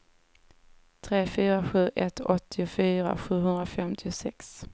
tre fyra sju ett åttiofyra sjuhundrafemtiosex